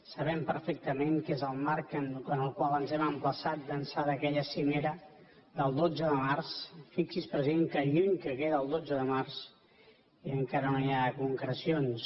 sabem perfectament que és el marc en el qual ens hem emplaçat d’ençà d’aquella cimera del dotze de març fixi’s president que lluny que queda el dotze de març i encara no hi ha concrecions